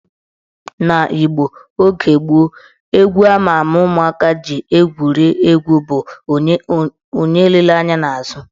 N'Igbo oge gboo, egwu ama ama ụmụaka ji egwuri egwu bụ " Onye elela anya n' azụ"